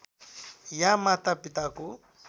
या माता पिताको